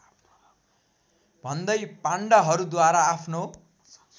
भन्दै पण्डाहरूद्वारा आफ्नो